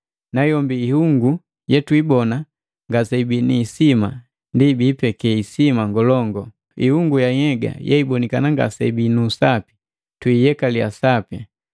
Nayombi ihungu yetwibona ngaseibii ni isima, ndi bipeke isima ngolongu. Ihungu ya nhyega yeibonikana ngaseibii nu usapi, tuiyekaliya sapi,